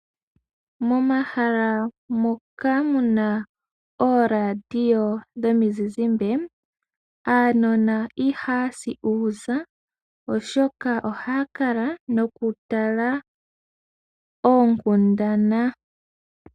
Momahala moka muna ooradio dhomizizimbe, aanona ihaya si uuza oshoka ohaa kala noku tala oonkundana.